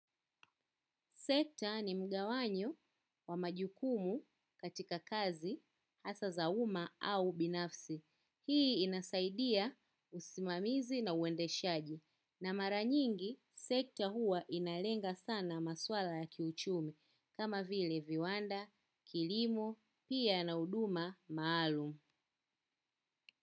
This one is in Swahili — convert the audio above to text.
Sekta ni mgawanyo wa majukumu katika kazi hasa za umma au binafsi. Hii inasaidia usimamizi na uendeshaji. Na mara nyingi, sekta huwa inalenga sana masuala ya kiuchumi. Kama vile viwanda, kilimo, pia na huduma maalum.